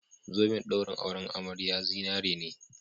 Zoben ɗaurin auren amariya zinare ne